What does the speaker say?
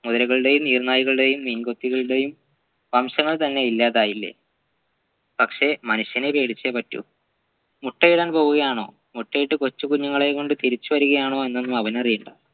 മുതലുകളുടെയും നീർനായകളുടെയും മീൻകൊത്തികളുടെയും വംശങ്ങൾ തന്നെ ഇല്ലാതായില്ലേ പക്ഷെ മനുഷ്യനെ പേടിച്ചേ പറ്റു മുട്ടയിടാൻ പോവുകയാണോ മുട്ടയിട്ട് കൊച്ചുകുഞ്ഞുങ്ങളെയും കൊണ്ട് തിരിച്ചവരുകയാണോ എന്നൊന്നും അവനറിയേണ്ട